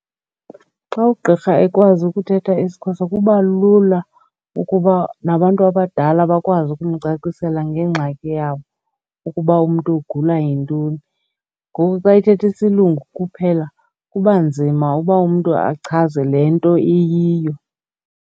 Xxa ugqirha ekwazi ukuthetha isiXhosa kuba lula ukuba nabantu abadala bakwazi ukumcacisela ngengxaki yabo ukuba umntu ugula yintoni. Ngoku xa ethetha isilungu kuphela kuba nzima uba umntu achaze le nto iyiyo.